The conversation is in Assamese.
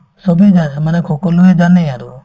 চবে জাই মানে সকলোয়ে জানেই আৰু